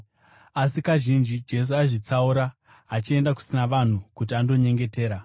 Asi, kazhinji Jesu aizvitsaura achienda kusina vanhu kuti andonyengetera.